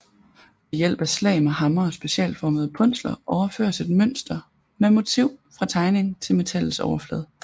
Ved hjælp af slag med hammer og specialformede punsler overføres et mønster eller motiv fra tegning til metallets overflade